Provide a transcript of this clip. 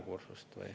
– naerukursus.